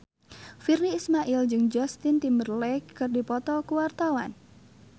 Virnie Ismail jeung Justin Timberlake keur dipoto ku wartawan